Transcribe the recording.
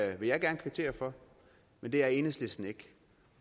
vil jeg gerne kvittere for men det er enhedslisten ikke